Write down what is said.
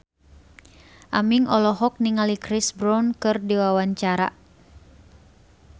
Aming olohok ningali Chris Brown keur diwawancara